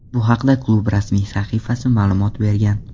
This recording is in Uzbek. Bu haqda klub rasmiy sahifasi ma’lumot bergan.